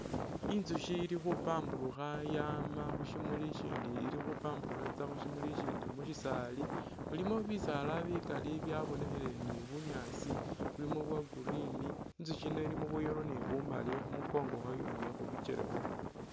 Intsushi ili khupamburukha Yama khushimuli ishindi ili khupamburukha itsa khushimuli shishindi mushisaali mulimo bisaala bikaali byabonekhile ni bunyaasi bulimo bya'green, intsushi yino ilimo bwa'yellow ni bu'maali khumunkongo khwayo ni khubikyele khwayo